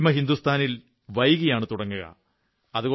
പശ്ചിമഹിന്ദുസ്ഥാനിൽ വൈകിയാണു തുടങ്ങുക